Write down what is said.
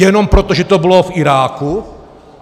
Jenom proto, že to bylo v Iráku?